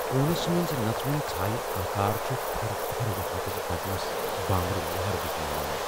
کونس منز نژوُن ژھایہ آكار چُھ تھرٕ تھٕرٕ وتھِمتِس بدنس بامبرِ لہر وُزناوان۔